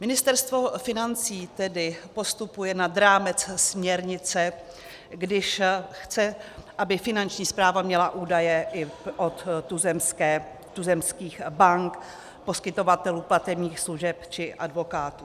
Ministerstvo financí tedy postupuje nad rámec směrnice, když chce, aby Finanční správa měla údaje i od tuzemských bank, poskytovatelů platebních služeb či advokátů.